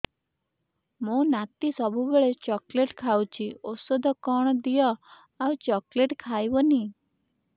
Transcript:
ମୋ ନାତି ସବୁବେଳେ ଚକଲେଟ ଖାଉଛି ଔଷଧ କଣ ଦିଅ ଆଉ ଚକଲେଟ ଖାଇବନି